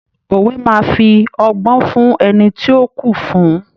Òwe máa fí ọgbọ́n fún ẹni tí ó kù fún.